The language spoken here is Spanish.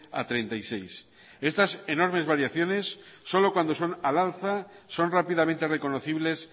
a treinta y seis estas enormes variaciones solo cuando son al alza son rápidamente reconocibles